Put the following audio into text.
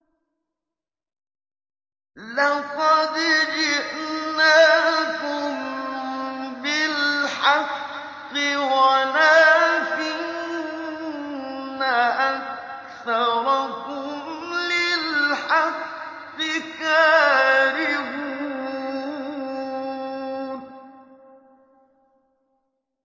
لَقَدْ جِئْنَاكُم بِالْحَقِّ وَلَٰكِنَّ أَكْثَرَكُمْ لِلْحَقِّ كَارِهُونَ